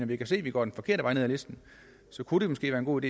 vi kan se at vi går den forkerte vej ned ad listen kunne det måske være en god